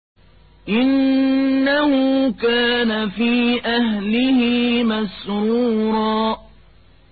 إِنَّهُ كَانَ فِي أَهْلِهِ مَسْرُورًا